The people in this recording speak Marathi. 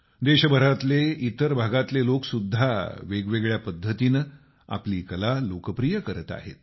देशभरातले इतर भागातले लोक सुद्धा वेगवेगळ्या पद्धतीनं आपली कला लोकप्रिय बनवत आहेत